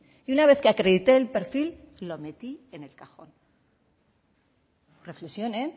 y una vez que acredité el perfil lo metí en el cajón reflexione